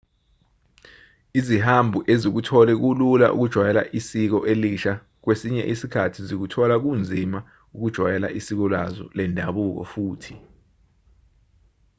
izihambi ezikuthole kulula ukujwayela isiko elisha kwesinye isikhathi zikuthola kunzima ukujwayela isiko lazo lendabuko futhi